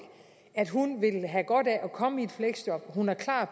at hun vil have godt af at komme i fleksjob at hun er klar